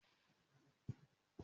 Màá fún un ní ọjọ́ ajé